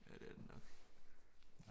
Ja det er det nok